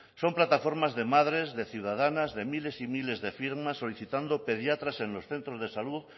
son plataformas de madres de ciudadanas de miles y miles de firmas solicitando pediatras en los centros de salud